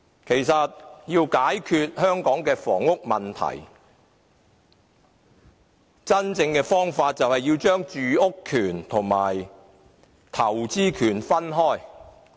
其實，要真正解決香港的房屋問題，便要將住屋權和投資權分開。